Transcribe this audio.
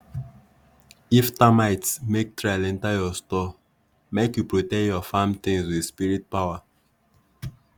if termites make trail enter your store make you protect your farm things with spirit power.